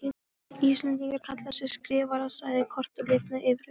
Íslendingar kalla þig Skrifara, sagði Kort og lifnaði yfir augunum.